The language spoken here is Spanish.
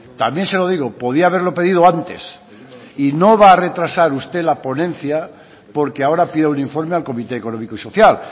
también se lo digo podía haberlo pedido antes y no va a retrasar usted la ponencia porque ahora pida un informe al comité económico y social